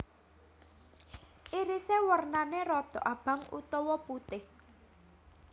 Irise warnane rodok abang utawa putih